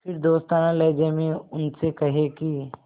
फिर दोस्ताना लहजे में उनसे कहें कि